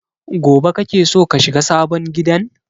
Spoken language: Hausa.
Gobe kake so ka shiga sabon gidan?